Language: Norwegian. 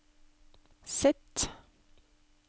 Z